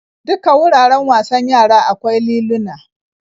Duka wuraren wasan yara akwai liluna.